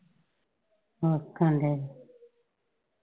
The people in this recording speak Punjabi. ਆਹੋ .